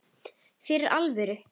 Fyrir alvöru.